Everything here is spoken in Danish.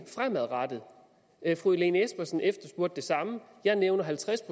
fremadrettet fru lene espersen efterspurgte det samme jeg nævnte halvtreds